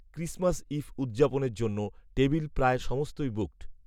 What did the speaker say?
Christmas eve উদযাপনের জন্য table প্রায় সমস্তই বুকড